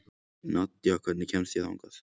Nadja, hvernig kemst ég þangað?